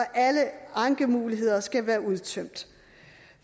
alle ankemuligheder skal være udtømt